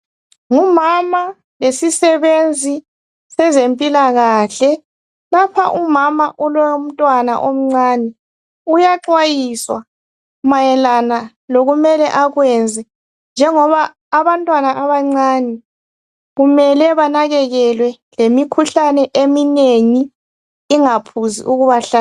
Ngumama lesisebenzi sezempilakahle lapha umama ulomntwana omncane uyaxwayiswa mayelana lokumele akwenze njengoba abantwana abancane kumele banakekelwe lemikhuhlane eminengi ingaphuzi ukubahlasela